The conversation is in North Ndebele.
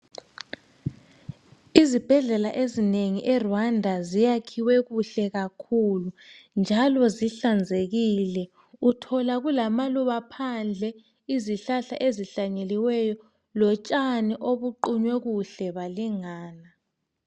Izibhedlela ezinengi eRwanda ziyakhiwe kuhle kakhulu njalo zihlanzekile uthola kulamaluba phandle, izihlhla ezihlanyeliweyo, lotshani obuqunywe kuhle balingana.